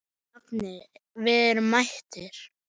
Nafni, við erum mættir